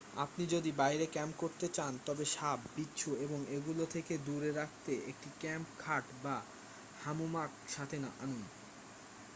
আপনি যদি বাইরে ক্যাম্প করতে চান তবে সাপ বিচ্ছু এবং এগুলো থেকে দূরে রাখতে একটি ক্যাম্প খাট বা হামোমাক সাথে আনুন